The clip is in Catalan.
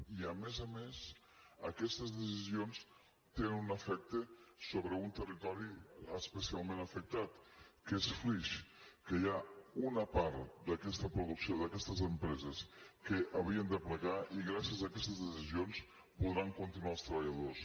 i a més a més aquestes decisions tenen un efecte sobre un territori especialment afectat que és flix que hi ha una part d’aquesta producció d’aquestes empreses que havien de plegar i gràcies a aquestes decisions podran continuar els treballadors